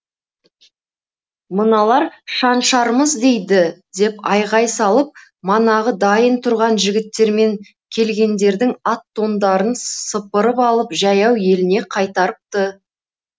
мыналар шаншармыз дейді деп айғай салып манағы дайын тұрған жігіттермен келгендердің ат тондарын сыпырып алып жаяу еліне қайтарыпты